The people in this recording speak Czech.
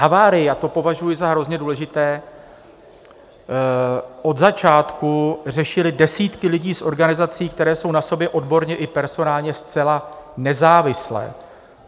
Havárii, a to považuji za hrozně důležité, od začátku řešily desítky lidí z organizací, které jsou na sobě odborně i personálně zcela nezávislé.